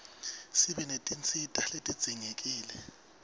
sibe netinsita letidzingekile